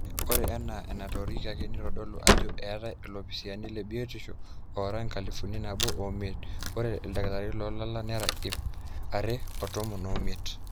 ore enaa enatoorikiaki neitodolu ajo eetai olopisaani lebiotishu oora enkalifu nabo oimiet, ore ildakitarini loolala nera ip are otomon oimiet,